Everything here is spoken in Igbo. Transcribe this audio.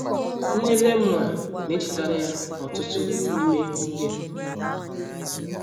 Nne Lemuel na - echetara ya ọtụtụ n’ime ihe ndị a.